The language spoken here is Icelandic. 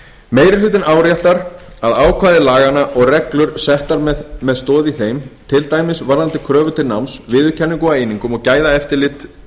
meiri hlutinn áréttar að ákvæði laganna og reglur settar með stoð í þeim til dæmis varðandi kröfur til náms viðurkenningu á einingum og gæðaeftirlit